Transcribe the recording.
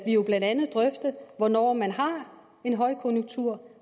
jo blandt andet drøfte hvornår man har en højkonjunktur